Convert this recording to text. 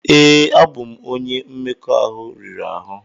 Ee, abụ m onye mmekọahụ riri ahụ.